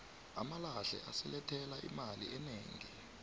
amalahle asilethela imali enegi